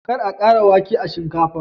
kar a kara wake a shinkafa